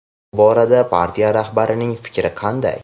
bu borada partiya rahbarining fikri qanday?.